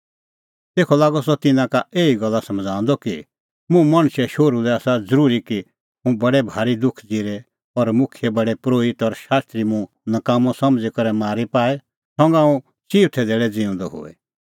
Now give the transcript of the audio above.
तेखअ लागअ सह तिन्नां का एही गल्ला समझ़ाऊंदअ कि मुंह मणछे शोहरू लै आसा ज़रूरी की हुंह बडै भारी दुख ज़िरे और मुखियै प्रधान परोहित और शास्त्री मुंह नकाम्मअ समझ़ी करै मारी पाए और हुंह चिऊथै धैल़ै ज़िऊंदअ होए